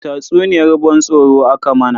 Tatsuniyar ban tsoro aka mana.